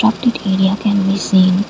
pocket area can we seen.